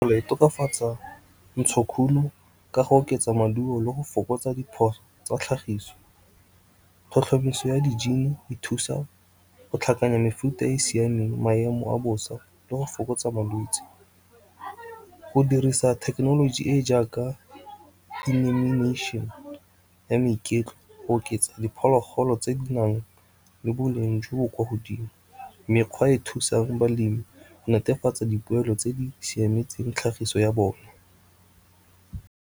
E tokafatsa ntshokuno ka go oketsa maduo le go fokotsa diphoso tsa tlhagiso. Tlhotlhomiso ya dijini e thusa go tlhakanya mefuta e e siameng maemo a bosa le go fokotsa malwetse. Go dirisa thekenoloji e e jaaka di go oketsa diphologolo tse di nang le boleng jo bo kwa godimo, mekgwa e e thusang balemi netefatsa dipoelo tse di siametseng tlhagiso ya bone.